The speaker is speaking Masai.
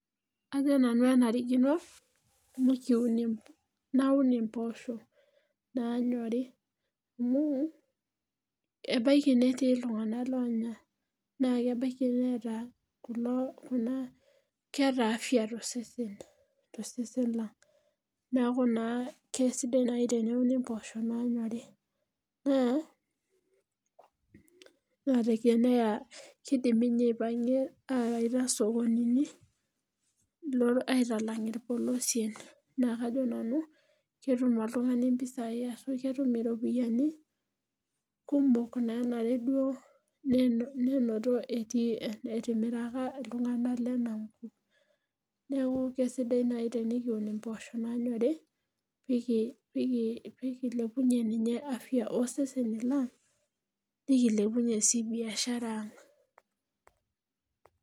ajo nanu enarikino naun imposho naanyori amu, ebaiki netii iltunganak loonyor. naa kebaiki neeeta afya tosesen lang. neeku naa kesidai naanji teneuni mpoosho naanyori. naa, teneya, kidimi ninye aipangie aawaita sokonii, aaitalang' irpolosien, naa kajo nanu ketum oltungani impisai, ashu ketum iropiyiani ku mok naanare duo enenoto temirata ooltunganak leina kop. neeku kiisdai naaji tenikun impoosho naaanyorri, nikilepunyie ninye afya ooseseni lang. nikilepunyie sii biashara ang'.